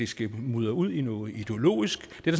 skal mudre ud i noget ideologisk det